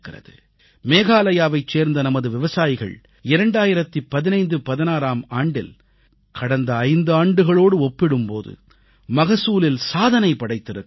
மேகாலயாவைச் சேர்ந்த நமது விவசாயிகள் 201516ஆம் ஆண்டில் கடந்த 5 ஆண்டுகளோடு ஒப்பிடும் போது மகசூலில் சாதனை படைத்திருக்கிறார்கள்